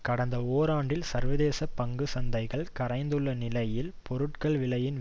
கடந்த ஓராண்டில் சர்வதேச பங்கு சந்தைகள் கரைந்துள்ள நிலையில் பொருட்கள் விலையின்